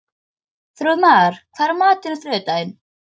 Þrúðmar, hvað er í matinn á þriðjudaginn?